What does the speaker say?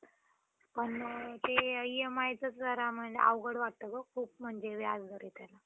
Okey ma'am. याची आपल्याला काय फायदा आहे?